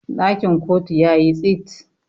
dakin kotu ya yi tsit